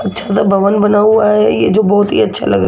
अच्छा सा भवन बना हुआ है ये जो बहुत ही अच्छा लग--